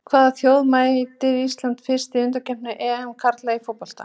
Hvaða þjóð mætir Ísland fyrst í undankeppni EM karla í fótbolta?